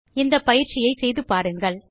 இந்த பயிற்சியை செய்து பாருங்கள்